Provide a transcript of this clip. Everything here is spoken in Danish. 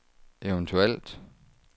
eventuelt